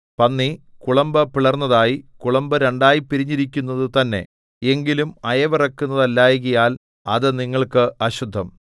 പന്നി കുളമ്പ് പിളർന്നതായി കുളമ്പ് രണ്ടായി പിരിഞ്ഞിരിക്കുന്നതു തന്നെ എങ്കിലും അയവിറക്കുന്നതല്ലായ്കയാൽ അത് നിങ്ങൾക്ക് അശുദ്ധം